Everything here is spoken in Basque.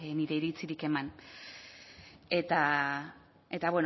nire iritzirik eman eta bueno